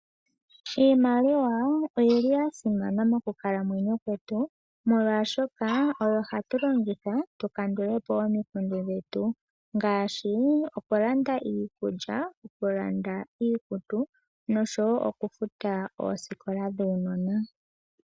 Iimaliwa oyili yasimana moku kalamwenyo kwetu, molwashoka oyo hatu longitha tu kandulepo omikundu dhetu. Ngaashi oku landa iikulya, oku landa iikutu noshowo oku futa oosikola dhuunona.